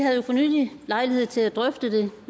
havde jo for nylig lejlighed til at drøfte det